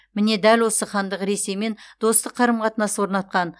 міне дәл осы хандық ресеймен достық қарым қатынас орнатқан